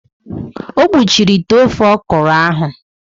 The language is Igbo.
O kpuchiri ite ofe ọkwụrụ ahụ.